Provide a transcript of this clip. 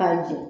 K'a jigin